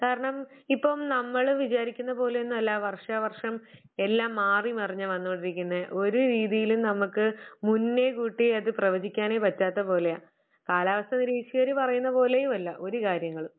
കാരണം, ഇപ്പം നമ്മള് വിചാരിക്കുന്നത് പോലെ ഒന്നും അല്ല വർഷാവർഷം എല്ലാം മാറി മറിഞ്ഞ വന്നുകൊണ്ടിരിക്കുന്നെ ഒരു രീതിയിലും നമുക്ക് മുന്നേ കൂട്ടി അത് പ്രവചിക്കാനെ പറ്റാത്ത പോലെയാ. കാലാവസ്ഥാ നിരീക്ഷകര് പറയുന്നത് പോലെയുമ ല്ല ഒരു കാര്യങ്ങളും.